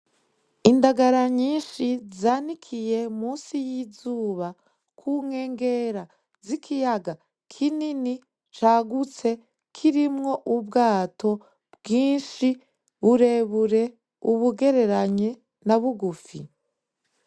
Indagara nyishi zanikiye munsi y'izuba ku nkengera zi kiyaga kinini cagutse kirimwo ubwato bwishi burebure, ubugereranye na bugufi.